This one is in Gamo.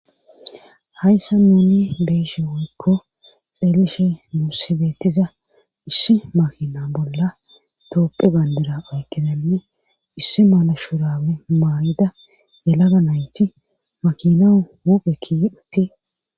Hayssa nuni beeshe woykko peelishe muussibeettiza issi makina bolla toopphe bayndera oykkizanne issi mala shurawe maarida yelaga nayti makinau huphekki utti